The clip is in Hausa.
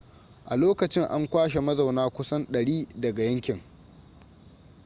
a lokacin an kwashe mazauna kusan 100 daga yankin